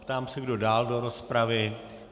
Ptám se, kdo dál do rozpravy.